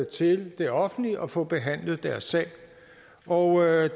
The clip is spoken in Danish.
til det offentlige og få behandlet deres sag og